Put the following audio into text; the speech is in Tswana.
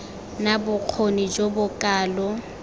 na bokgoni jo bo kalo